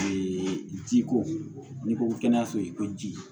Ee ji ko n'i ko kɛnɛyaso i ko ji